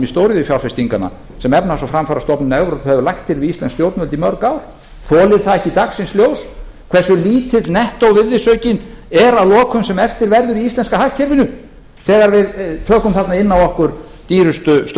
stóriðjufjárfestinganna sem efnahags og framfarastofnun evrópu hefur lagt til við íslensk stjórnvöld í mörg ár þolir það ekki dagsins ljós hversu lítill nettó virðisaukinn er að lokum sem eftir verður í íslenska hagkerfinu þegar við tökum þarna inn á okkur dýrustu störf